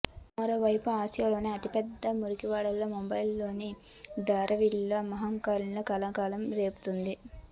మరోవైపు ఆసియాలోనే అతిపెద్ద మురికివాడ ముంబైలోని ధారావిలో మహమ్మారి కలకలం రేపుతోంది